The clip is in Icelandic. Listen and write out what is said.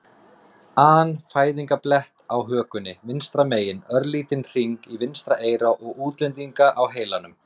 an fæðingarblett á hökunni vinstra megin, örlítinn hring í vinstra eyra og útlendinga á heilanum.